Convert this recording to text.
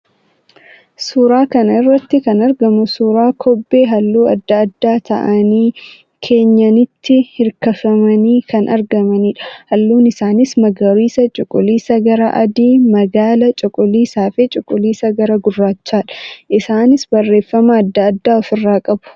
Suuraa kana irratti kan argamu suuraa kobbee halluu adda addaa ta'anii, keenyanitti hirkifamanii kan argamanidha. Haluun isaaniis magariisa, cuquliisa gara adii, magaala, cuquliisaa fi cuquliisa gara gurraachaadha. Isaanis barreeffama adda addaa of irraa qabu.